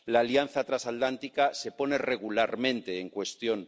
La Alianza Transatlántica se pone regularmente en cuestión.